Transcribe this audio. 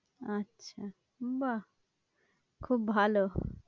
আচ্ছা, বাহ্ খুব ভালো।